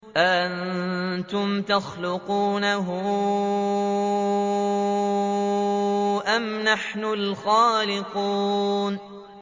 أَأَنتُمْ تَخْلُقُونَهُ أَمْ نَحْنُ الْخَالِقُونَ